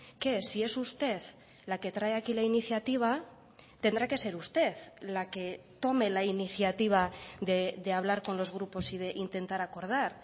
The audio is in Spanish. que si es usted la que trae aquí la iniciativa tendrá que ser usted la que tome la iniciativa de hablar con los grupos y de intentar acordar